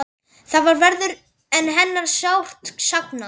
Þar verður hennar sárt saknað.